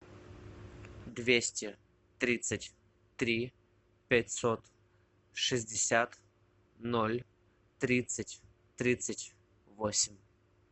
двести тридцать три пятьсот шестьдесят ноль тридцать тридцать восемь